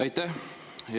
Aitäh!